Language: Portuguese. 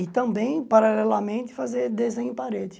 E também, paralelamente, fazer desenho em parede.